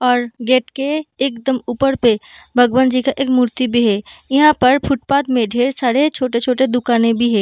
और गेट के एकदम ऊपर पे भगवान जी का एक मूर्ति भी है यहाँ पर फुटपाथ में ढ़ेर सारे छोटे-छोटे दुकानें भी है।